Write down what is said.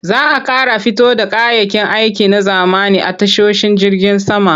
Za a ƙara fito da kayayyakin aiki na zamani a tashoshin jirgin sama.